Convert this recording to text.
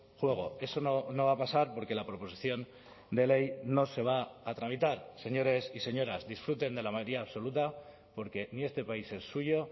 juego eso no va a pasar porque la proposición de ley no se va a tramitar señores y señoras disfruten de la mayoría absoluta porque ni este país es suyo